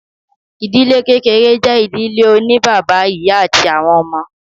Ìdílé kékeré jẹ́ ìdílé oní bàbá, ìyá àti àwọn ọmọ.